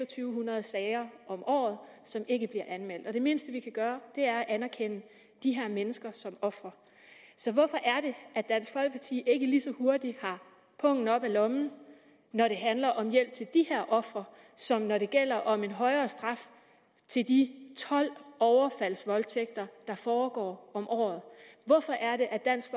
hundrede sager om året som ikke bliver anmeldt og det mindste vi kan gøre er at anerkende de her mennesker som ofre så hvorfor er det at dansk folkeparti ikke lige så hurtigt har pungen oppe af lommen når det handler om hjælp til de her ofre som når det gælder om en højere straf til de tolv overfaldsvoldtægter der foregår om året hvorfor er det at dansk